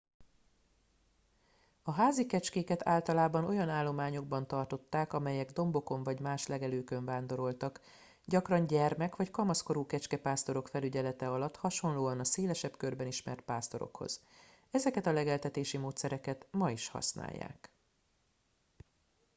a házi kecskéket általában olyan állományokban tartották amelyek dombokon vagy más legelőkön vándoroltak gyakran gyermek vagy kamaszkorú kecskepásztorok felügyelete alatt hasonlóan a szélesebb körben ismert pásztorokhoz ezeket a legeltetési módszereket ma is használják